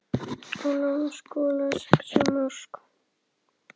Ólafur skoraði sex mörk.